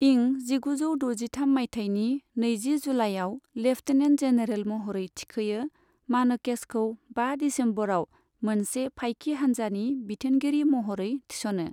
इं जिगुजौ द'जिथाम मायथाइनि नैजि जुलाइआव लेफ्टिनेन्ट जेनेरेल महरै थिखोयो, मानेकश'खौ बा दिसेम्बराव मोनसे फाइकि हानजानि बिथोनगिरि महरै थिस'नो।